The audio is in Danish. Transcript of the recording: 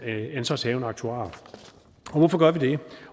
ansvarshavende aktuar hvorfor gør vi det